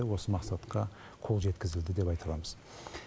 осы мақсатқа қол жеткізілді деп айта аламыз